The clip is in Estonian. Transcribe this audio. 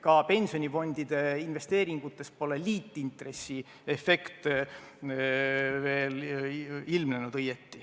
Ka pensionifondide investeeringutes pole liitintressi efekt veel õieti ilmnenud.